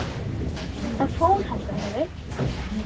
Það fór heldur ekki að rigna.